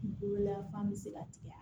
Kungolo lafaa bɛ se ka tigɛ